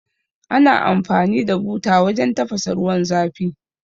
Ana amfani da buta wajan tafasa ruwan zafi